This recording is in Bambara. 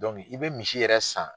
i bɛ misi yɛrɛ san.